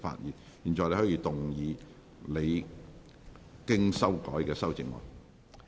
你現在可以動議你經修改的修正案。